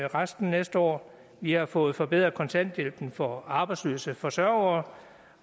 resten næste år vi har fået forbedret kontanthjælpen for arbejdsløse forsørgere